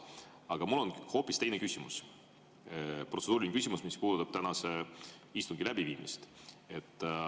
Aga mul on hoopis teine küsimus, protseduuriline küsimus, mis puudutab tänase istungi läbiviimist.